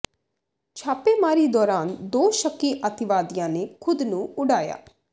ਛਾਪੇਮਾਰੀ ਦੌਰਾਨ ਦੋ ਸ਼ੱਕੀ ਅਤਿਵਾਦੀਆਂ ਨੇ ਖ਼ੁਦ ਨੂੰ ਉਡਾਇਆ